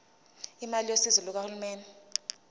imali yosizo lukahulumeni